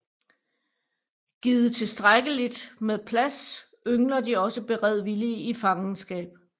Givet tilstrækkeligt med plads yngler de også beredvilligt i fangenskab